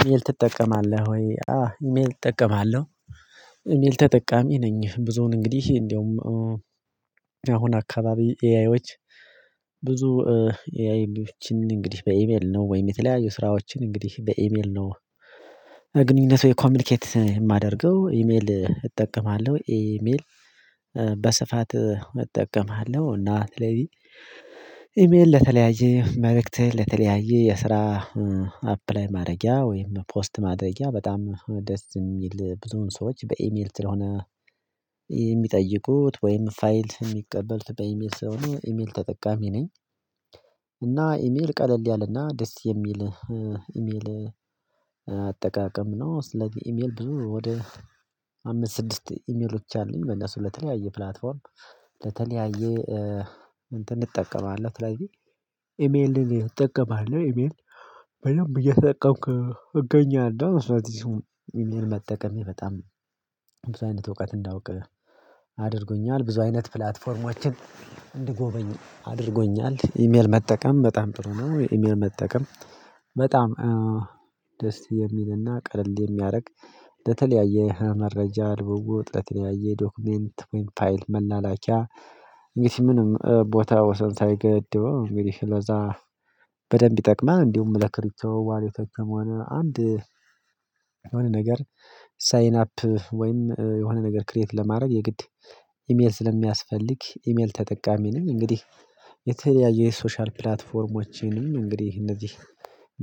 ኢሜይል ትጠቀማለህ ወይ? አዎ ኢሜል እጠቀማለሁ። ኢሜል ተጠቃሚ ነኝ። ብዙውን እንግዲህ እንደውም አሁን አካባቢ ኤአይዎች ብዙ ኤአይዎችን እንግዲህ በኤሜል ነው ወይም የተለያዩ ስራዎችን እንግዲህ በኢሜል ነው። ግንኙነት ወይ ኮሚኒኬት የማደርገው ኢሜል እጠቀማለሁ ኢሜል። በስፋት እጠቀማለሁ እና ስለዚህ ኢሜል ለተለያየ መልእክት ለተለያየ የስራ አፕላይ ማድረጊያ ወይም ፖስት ማድረጊያ በጣም ደስ የሚል ብዙውን ሰዎች በኢሜል ስለሆነ። የሚጠይቁት ወይም ፋይል የሚቀበሉት በኢሜል ስለሆነ ኢሜል ተጠቃሚ ነኝ። እና ኢሜል ቀለል ያለና ደስ የሚል ኢሜል አጠቃቀም ነው። ስለዚህ ኢሜል ብዙ ወደ አምስት ስድስት ኢሜሎች አሉኝ። በእነሱ ለተለያየ ፕላትፎርም ለተለያየ እንትን እንጠቀማለን ስለዚህ ኢሜል እንጠቀማለን ኢሜል በደንብ እየተጠቀምቁ እገኛለሁ። ስለዚህ ኢሜይል መጠቀም በጣም ብዙ አይነት እውቀት እንዳውቅ አድርጎኛል ብዙ አይነት ፕላትፎርሞችን እንድጎበኙ አድርጎኛል። ኢሜል መጠቀም በጣም ጥሩ ነው። ኢሜል መጠቀም በጣም ደስ የሚልና ቀለል የሚያደርግ ለተለያየ መረጃ ልውውጥ የተለያየ ጥ ዶክመንት ወይም ፋይል መላላኪያ። እንግዲህ ምንም ቦታ ወሰን ሳይገድበው እንግዲህ ለዛ በደንብ ይጠቅማል። እንዲሁም ለክርብቶ ዋሌቶችም ሆነ አንድ የሆነ ነገር ሳይን አፕ ወይም የሆነ ነገር ክሬት ለማድረግ የግድ ኢሜል ስለሚያስፈልግ ኢሜል ተጠቃሚ ነኝ። እንግዲህ የተለያዩ የሶሻል ፕላትፎርሞችንም እንግዲህ እነዚህ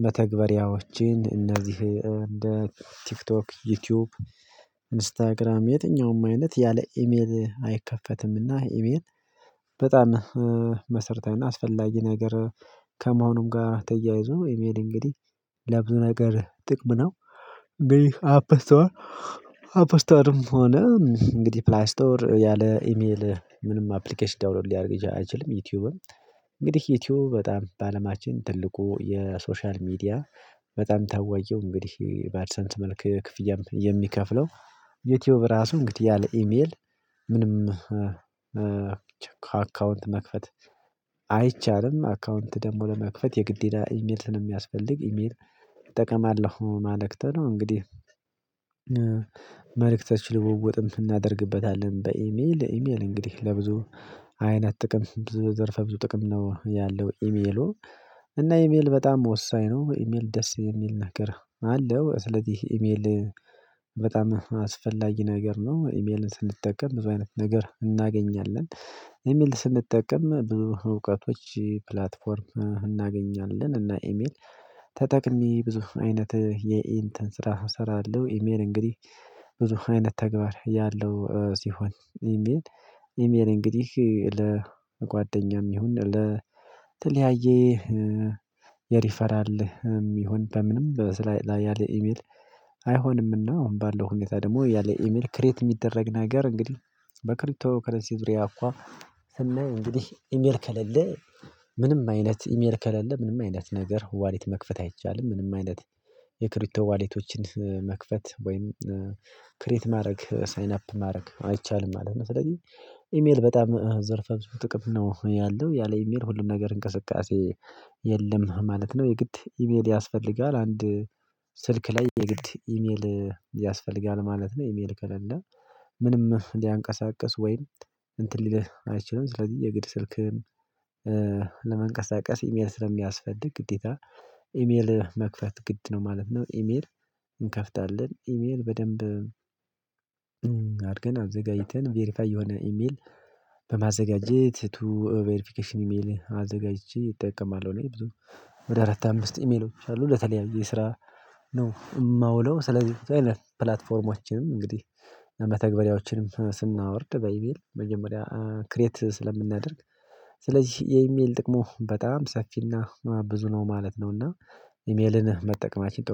መተግበሪያዎችን እነዚህ እንደ ቲክቶክ ዩቲዩብ ኢንስታግራም የትኛውም አይነት ያለ ኢሜል አይከፈትምና። ኢሜል በጣም መሰርታዊና አስፈላጊ ነገር ከመሆኑም ጋር ተያይዞ ኢሜል እንግዲህ ለብዙ ነገር ጥቅም ነው። እንግድህ አፕስቶር አፕስቶርም ሆነ እንግዲህ ፕላይ ስቶር ያለ ኢሜል ምንም አፕሊኬሽን ዳውንሎድ ሊያደርግ አይችልም። ዩቲዩብም እንግዲህ ዩቲዩብ በጣም በአለማችን ትልቁ የሶሻል ሚዲያ በጣም ታወቅው እንግዲህ በአድሰንስ መልክ ክፍያ የሚከፍለው ዩቲዩብ ራሱ እንግዲህ ያለ ኢሜል ምንም ከአካውንት መክፈት አይቻልም። አካውንት ደግሞ ለመክፈት የግዴታ ኢሜል ስለሚያስፈልግ ኢሜል እጠቀማለሁ ማለት ነው። እንግዲህ መልእክቶች ልወወጥም እናደርግበታለን በኢሜል ኢሜል እንግዲህ ለብዙ አይነት ጥቅም ዘርፈ ብዙ ጥቅም ነው። ያለው ኢሜሉ እና ኢሜል በጣም ወሳኝ ነው። ኢሜል ደስ የሚል ነገር አለው ስለዚህ ኢሜል በጣም አስፈላጊ ነገር ነው። ኢሜልን ስንጠቀም ብዙ አይነት ነገር እናገኛለን። ኢሜል ስንጠቀም በእውቀቶች ፕላትፎርም እናገኛለን። እና ኢሜል ተጠቅሜ ብዙ አይነት የኢንተን ስራ እሰራለሁ። ኢሜል እንግዲህ ብዙ አይነት ተግባር ያለው ሲሆን ኢሜል ኢሜል እንግዲህ ለጓደኛም ይሁን ለተለያየ የሪፈራል ይሁን በምንም ላይ ያለ ኢሜል አይሆንምና። አሁን ባለው ሁኔታ ደግሞ ያለ ኢሜል ክሬት የሚደረግ ነገር እንግዲህ በክሪቶ ከረንሲ ዙሪያ እንኳን ስናይ እንግዲህ ኢሜል ከሌለ ምንም አይነት ኢሜል ከሌለ ምንም አይነት ነገር ዋሌት መክፈት አይቻልም። ምንም አይነት የክሪቶ ዋሊቶችን መክፈት ወይም ክሬት ማድረግ ሳይን አፕ ማድረግ አይቻልም ማለት ነው። ስለዚህ ኢሜል በጣም ዘርፈ ብዙ ጥቅም ነው ያለው ያለ ኢሜል ሁሉም ነገር እንቅስቃሴ የለም ማለት ነው። የግድ ኢሜል ያስፈልጋል አንድ ስልክ ላይ የግድ ኢሜል ያስፈልጋል ማለት ነው። ኢሜል ከሌለ ምንም ሊያንቀሳቅስ ወይም እንትን ሊልህ አይችልም። ስለዚህ የግድ ስልክህን ለመንቀሳቀስ ኢሜል ስለሚያስፈልግ ግዴታ ኢሜል መክፈት ግድ ነው ማለት ነው። ኢሜል እንከፍታለን ኢሜል በደንብ አድርገን አዘጋጅተን ቬሪፋይ የሆነ ኢሜል በማዘጋጀት ቱ ቬሪፊኬሽን ኢሜል አዘጋጅቼ እጠቀማለሁ። እኔ ብዙ ወደ አራት አምስት ኢሜሎች አሉ ለተለያየ የስራ ነው የማውለው። ስለዚህ ብዙ አይነት ፕላትፎርሞችም እንግዲህ ለመተግበሪያዎችንም ስናወርድ በኢሜል መጀመሪያ ክሬት ስለምናደርግ ስለዚህ የኢሜል ጥቅሙ በጣም ሰፊና ብዙ ነው ማለት ነው። እና ኢሜልን መጠቀማችን